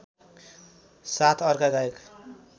साथ अर्का गायक